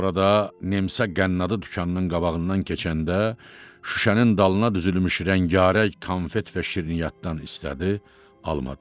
Sonra da Nemtsə Qənnadı dükanının qabağından keçəndə şüşənin dalına düzülmüş rəngarəng konfet və şirniyyatdan istədi, almadım.